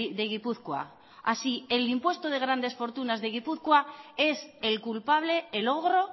de gipuzkoa así el impuesto de grandes fortunas de gipuzkoa es el culpable el ogro